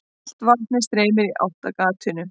Allt vatnið streymir í átt að gatinu.